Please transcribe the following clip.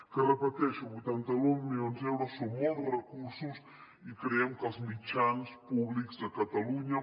que ho repeteixo vuitanta nou milions d’euros són molts recursos i creiem que els mitjans públics de catalunya